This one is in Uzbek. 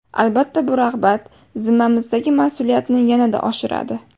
Albatta bu rag‘bat zimmamizdagi mas’uliyatni yanada oshiradi.